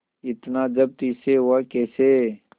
इतना जब्त इससे हुआ कैसे